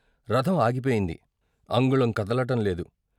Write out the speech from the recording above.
రథం ఆగిపోయింది, అంగుళం కదలటంలేదు.